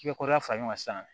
fara ɲɔgɔn kan sisan